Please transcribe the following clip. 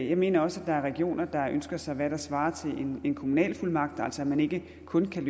jeg mener også at der er regioner der ønsker sig hvad der svarer til en kommunalfuldmagt altså at man ikke kun kan